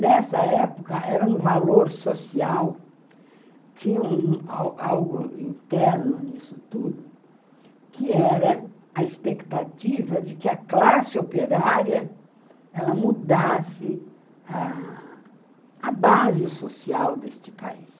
Nessa época era um valor social, tinha algo interno nisso tudo, que era a expectativa de que a classe operária ela mudasse a base social deste país.